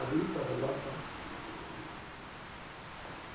a boifa go ba fa